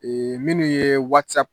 minnu ye .